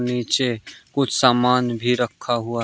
नीचे कुछ सामान भी रखा हुआ--